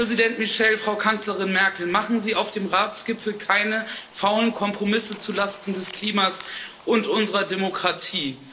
Herr Präsident Michel, Frau Kanzlerin Merkel, machen Sie auf dem Ratsgipfel keine faulen Kompromisse zulasten des Klimas und unserer Demokratie!